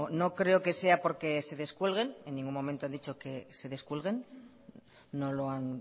no creo que sea porque se descuelguen en ningún momento han dicho que se descuelguen no lo han